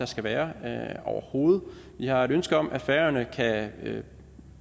skal være overhovedet vi har et ønske om at færøerne kan